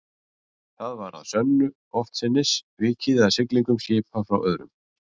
Þar var að sönnu oftsinnis vikið að siglingum skipa frá öðrum